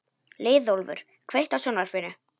Leiðólfur, kveiktu á sjónvarpinu.